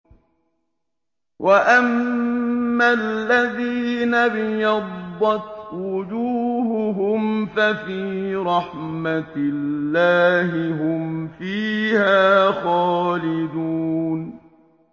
وَأَمَّا الَّذِينَ ابْيَضَّتْ وُجُوهُهُمْ فَفِي رَحْمَةِ اللَّهِ هُمْ فِيهَا خَالِدُونَ